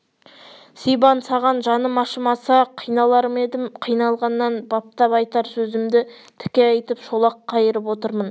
сибан саған жаным ашымаса қиналар ма едім қиналғаннан баптап айтар сөзімді тіке айтып шолақ қайырып отырмын